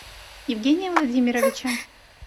евгения владимировича